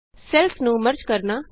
cells ਨੂੰ merge ਕਰਨਾ